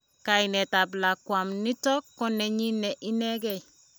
kainet tap lakwa m niino ku nenyiine ineekei